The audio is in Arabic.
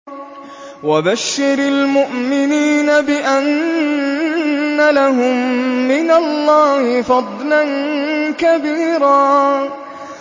وَبَشِّرِ الْمُؤْمِنِينَ بِأَنَّ لَهُم مِّنَ اللَّهِ فَضْلًا كَبِيرًا